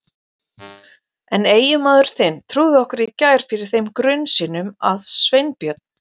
En eiginmaður þinn trúði okkur í gær fyrir þeim grun sínum að Sveinbjörn